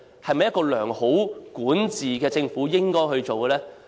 又是否一個良好管治的政府應該做的呢？